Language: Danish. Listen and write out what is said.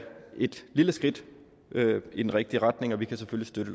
et lille skridt i den rigtige retning og vi kan selvfølgelig